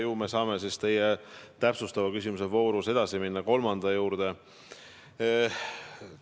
Ju me saame siis teie täpsustava küsimusega minna kolmanda juurde.